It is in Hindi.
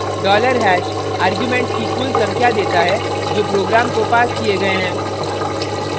$#dollar hash आर्ग्युमेन्ट्स की कुल संख्या देता है जो program को passed किये गए हैं